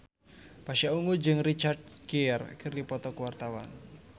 Pasha Ungu jeung Richard Gere keur dipoto ku wartawan